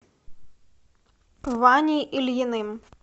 ваней ильиным